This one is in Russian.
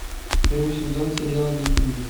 первый сезон сериал викинги